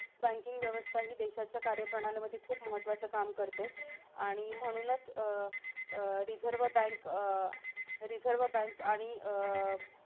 Banking व्यवस्था ही देशाच्या कार्यप्रणाली मध्ये खूप महत्वाचं काम करते. आणि म्हणूनचं अं अं रिझर्व बँक, अं रिझर्व बँक आणि अं